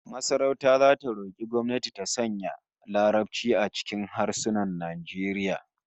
Masarauta zata roki gwamnati ta sanya Larabci a cikin harsunan Najeriya